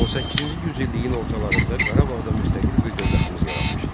18-ci yüz illiyin ortalarında Qarabağda müstəqil bir dövlətimiz yaranmışdı.